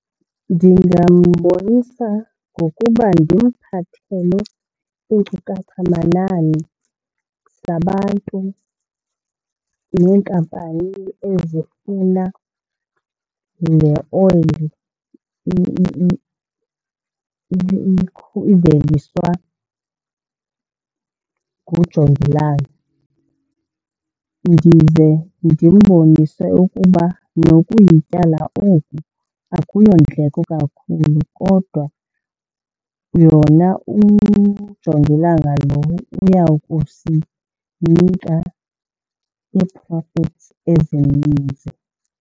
Ndingambonisa ngokuba ndimphathele iinkcukachamanani zabantu neenkampani ezifuna le oyile iveliswa ngujongilanga. Ndize ndimbonise ukuba nokuyityala oku akuyondleko kakhulu kodwa yona ujongilanga lo uyawukusinika ii-profits ezininzi.